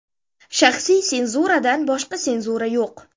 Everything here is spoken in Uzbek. Shaxsiy senzuradan boshqa senzura yo‘q.